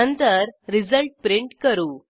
नंतर result print करू